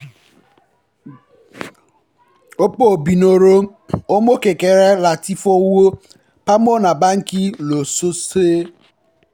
ọ̀pọ̀ òbí ń rọ ọmọ kékeré láti fi owó pamọ́ ní báńkì lósọ̀ọ̀sẹ̀